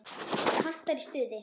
Kantar í stuði.